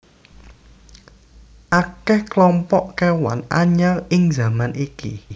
Akè klompok kéwan anyar ing zaman iki